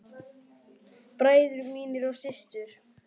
Bræður mínir og systur.